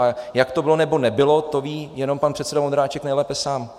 A jak to bylo nebo nebylo, to ví jenom pan předseda Vondráček nejlépe sám.